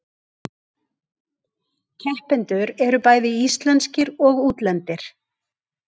Keppendur eru bæði íslenskir og útlendir